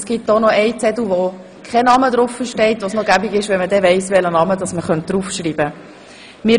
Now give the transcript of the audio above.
Es gibt auch noch einen Zettel, auf dem kein Name steht und wo es praktisch wäre, zu wissen, welchen Namen man hinschreiben könnte.